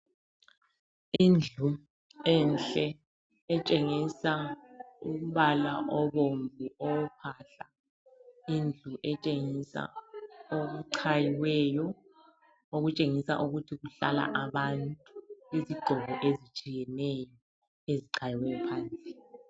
Indlu enhle etshengisa umbala obomvu owophahla. Indlu etshengisa okuchayiweyo okutshengisa ukuthi kuhlala abantu. Izigqoko ezitshiyeneyo ezichayiweyo phandle.